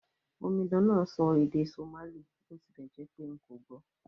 Omidan náà n sọ èdè Somali bó tilẹ̀ jẹ́pé n kò gbò